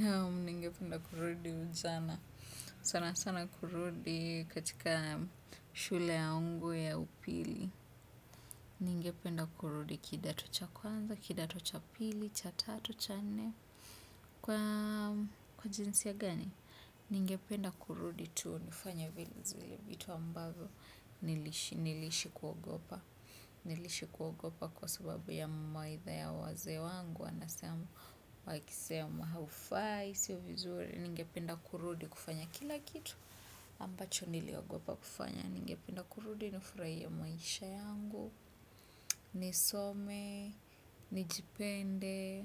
Naam, ningependa kurudi ujana. Sana sana kurudi katika shule yangu ya upili. Ningependa kurudi kidato cha kwanza, kidato cha pili, cha tatu, cha nne. Kwa jinsia gani? Ningependa kurudi tu nifanye vile zile vitu ambazo. Niliishi kuogopa. Niliishi kuogopa kwa sababu ya mawaitha ya wazee wangu. Anasema, wakisema haufai, sio vizuri. Ningependa kurudi kufanya kila kitu ambacho niliogopa kufanya ningependa kurudi nifurahie maisha yangu nisome, nijipende